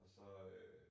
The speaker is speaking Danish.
Og så øh